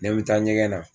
N bɛ taa ɲɛgɛn na